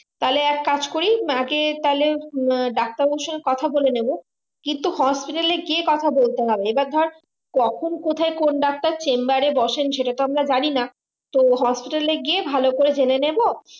তাহলে এক কাজ করি আগে তাহলে ডাক্তার বাবুর সাথে কথা বলে নেবো কিন্তু hospital এ গিয়ে কথা বলতে হবে এবার ধর কখন কথাই কোন ডাক্তার chamber এ বসেন সেটাতো আমরা জানি না তো hospital এ গিয়ে ভালো করে জেনে নেবো